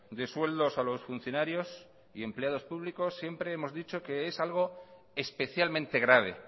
de sueldos a los funcionarios y empleados públicos siempre hemos dicho que es algo especialmente grave